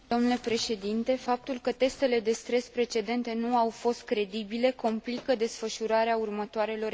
Faptul că testele de stres precedente nu au fost credibile complică desfășurarea următoarelor examinări.